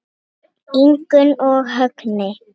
Ingunn og Högni.